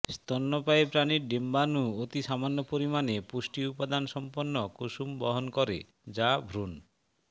স্তন্যপায়ী প্রানীর ডিম্বাণু অতি সামান্য পরিমানে পুষ্টিউপাদান সম্পন্ন কুসুম বহন করে যা ভ্রূণ